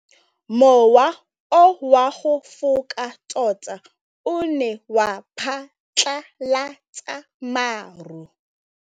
Mowa o wa go foka tota o ne wa phatlalatsa maru.